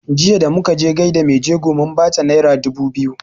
Jiya da muka je gaida mai jego mun bata naira dubu biyu